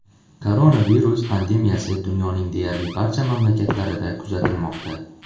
Koronavirus pandemiyasi dunyoning deyarli barcha mamlakatlarida kuzatilmoqda.